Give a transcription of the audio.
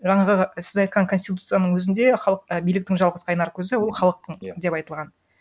жаңағы сіз айтқан конституцияның өзінде халық і биліктің жалғыз қайнар көзі ол халықтың деп айтылған